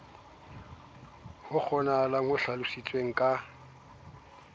ho kgonahalang ho hlalositswe ka